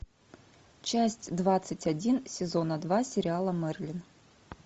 часть двадцать один сезона два сериала мерлин